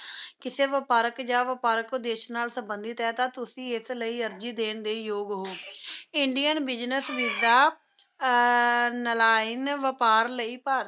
ਕਿਸੇ ਵਪਾਰਕ ਜਾਂ ਵਪਾਰਕ ਉੱਦੇਸ਼ ਨਾਲ ਸੰਬੰਧਿਤ ਹੈ ਤਾਂ ਤੁਸੀਂ ਇਸ ਲਈ ਅਰਜ਼ੀ ਦੇਣ ਦੇ ਯੋਗ ਹੋ ਇੰਡਿਅਨ ਬਿਜ਼ਨਸ ਵੀਸਾ ਨਾਇਲੋਨ ਵਪਾਰ ਲਈ ਭਾਰਤੀ